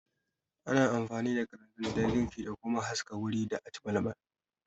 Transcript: Ana amfani da kalanzir don girki da kuma haska wuri da aci balbal